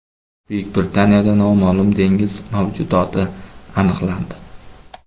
Buyuk Britaniyada noma’lum dengiz mavjudoti aniqlandi.